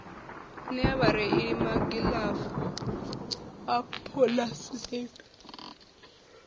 nea vhareili magilavu a puḽasitiki